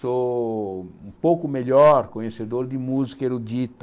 Sou um pouco melhor conhecedor de música erudita.